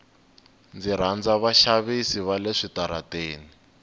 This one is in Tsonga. ndzi rhandza vaxavisi vale switarateni